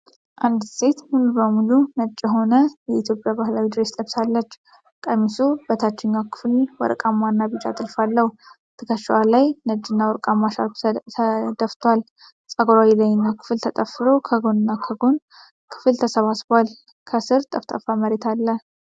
አንዲት ሴት ሙሉ በሙሉ ነጭ የሆነ የኢትዮጵያ ባህላዊ ድሬስ ለብሳለች። ቀሚሱ በታችኛው ክፍል ወርቃማና ቢጫ ጥልፍ አለው። ትከሻዋ ላይ ነጭና ወርቃማ ሻርፕ ተደፍቷል። ፀጉሯ የላይኛው ክፍል ተጠፍሮ፣ የጎንና የኋላ ክፍል ተሰብስቧል። ከስር ጠፍጣፋ መሬት አለ።